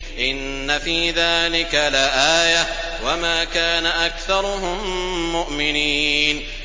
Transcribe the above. إِنَّ فِي ذَٰلِكَ لَآيَةً ۖ وَمَا كَانَ أَكْثَرُهُم مُّؤْمِنِينَ